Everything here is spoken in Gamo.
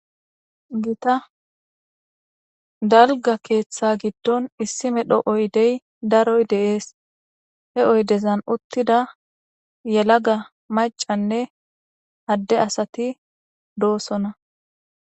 gita dalga keeththa giddon issimedho oydey daroy deees he oydezan uttida yelaga macanne adde asati doosona